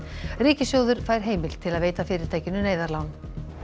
ríkissjóður fær heimild til að veita fyrirtækinu neyðarlán